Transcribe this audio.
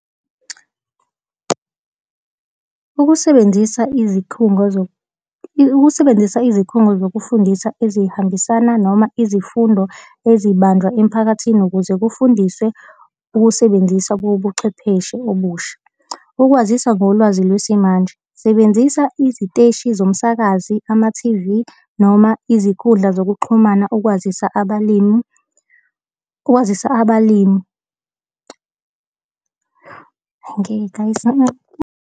Ukusebenzisa izikhungo ukusebenzisa izikhungo zokufundisa ezihambisana noma izifundo ezibanjwa emiphakathini ukuze kufundiswe ukusebenzisa kobuchwepheshe obusha. Ukwazisa ngolwazi lwesimanje. Sebenzisa iziteshi zomsakazi, amathivi, noma izikhundla zokuxhumana ukwazisa abalimi, ukwazisa abalimi. Angeke guys .